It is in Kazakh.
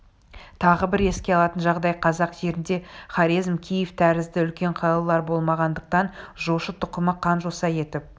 тағы бір еске алатын жағдай қазақ жерінде хорезм киев тәрізді үлкен қалалар болмағандықтан жошы тұқымы қан жоса етіп